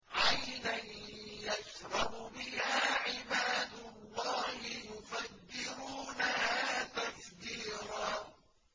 عَيْنًا يَشْرَبُ بِهَا عِبَادُ اللَّهِ يُفَجِّرُونَهَا تَفْجِيرًا